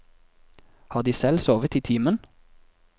Har de selv sovet i timen?